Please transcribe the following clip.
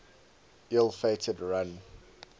ill fated run